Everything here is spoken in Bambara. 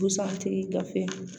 Busan tigi gafe